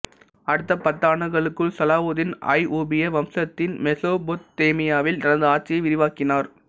அடுத்த பத்தாண்டுகளுக்குள் சலாவூதீன் அய்வூப்பியிய வம்சத்தின் மெசொப்பொத்தேமியாவில் தனது ஆட்சியை விரிவாக்கினார்